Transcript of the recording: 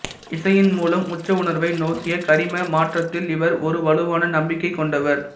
இசையின் மூலம் உச்ச உணர்வை நோக்கிய கரிம மாற்றத்தில் இவர் ஒரு வலுவான நம்பிக்கை கொண்டவர்